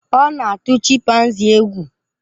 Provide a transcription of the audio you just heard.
Ọ na-atụ chimpanzii egwu.